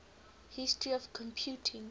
history of computing